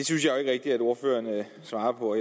synes jo ikke rigtig at ordføreren svarer på